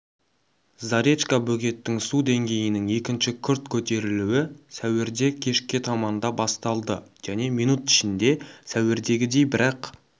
заречка бөгеттің су деңгейінің екінші күрт көтерілуі сәуірде кешке таманда басталды және минут ішінде сәуірдегідей бірақ